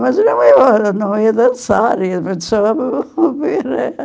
Mas eu ia não ia dançar.